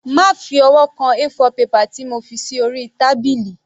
Má fi ọwọ́ kan A4 paper tí mo fi sí orí tábìlì.